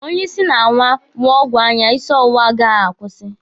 Onye isi na-awọ ṅụọ ọgwụ anya, isi ọwụwa ahụ agaghị akwụsị.